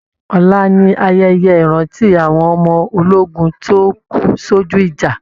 Ọla ni ayẹyẹ ìrántí àwọn ọmọ ológun tó kú sojú ìjà